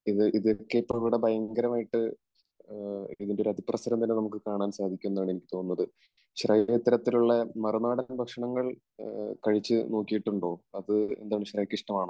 ഇതൊക്കെ ഇപ്പോൾ ഇവിടെ ഭയങ്കരമായിട്ട്, ഇതിന്റെ ഒരു അതിപ്രസരം വരെ നമുക്ക് കാണാൻ സാധിക്കും എന്നാണ് എനിക്ക് തോന്നുന്നത്. ശ്രേയ ഇത്തരത്തിലുള്ള മറുനാടൻ ഭക്ഷണങ്ങൾ കഴിച്ചു നോക്കിയിട്ടുണ്ടോ? അത് എന്താണ്? ശ്രേയയ്ക്ക് ഇഷ്ടമാണോ?